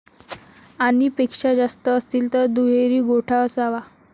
आणि पेक्षा जास्त असतील तर दुहेरी गोठा असावा